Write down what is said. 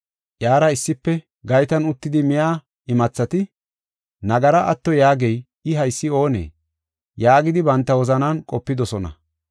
Iyara issife gaytan uttidi miya imathati, “Nagara atto yaagey, I haysi oonee?” yaagidi banta wozanan qopidosona.